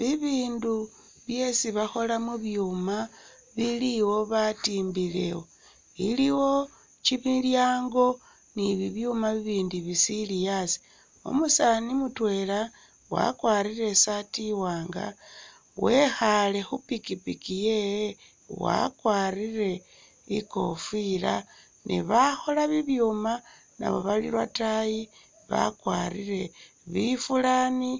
Bibindu byesi bakhola mu byuuma bili'wo batimbile ,iliwo kyimilyango ni bibyuuma bibindi bisili asi ,umusaani mutwela wakwarire isaati iwanga wekhale khupikipiki yewe wakwarire ikofila ne bakhola bibyuuma nabo bali lwotayi bakwarire bifulaani